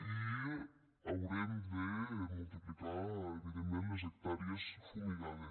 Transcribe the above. i haurem de multiplicar evidentment les hectàrees fumigades